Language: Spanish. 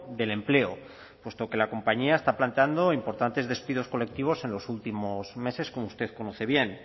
del empleo puesto que la compañía está planteando importantes despidos colectivos en los últimos meses como usted conoce bien